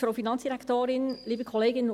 Kommissionssprecherin der FiKo-Minderheit.